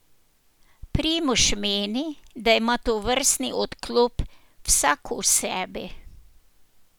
Primož meni, da ima tovrsten odklop vsak v sebi.